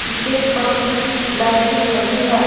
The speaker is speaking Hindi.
स्टेज पर कुछ लाइटिंग लगी है।